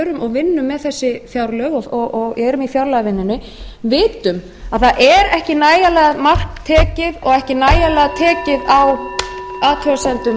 og vinnum með þessi fjárlög og erum í fjárlagavinnunni vitum að það er ekki nægjanlega mark tekið og ekki nægjanlega tekið á athugasemdum ríksiendurskoðunar